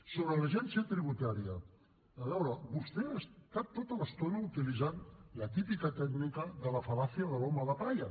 sobre l’agència tributaria a veure vostè ha estat tota l’estona utilitzant la típica tècnica de la fal·làcia de l’home de palla